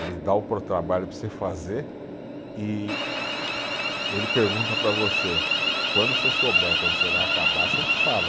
Ele dá o para você fazer e ele pergunta para você, quando você souber, quando você vai acabar, você me fala.